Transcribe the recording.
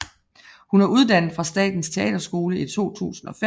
Hun er uddannet fra Statens Teaterskole i 2005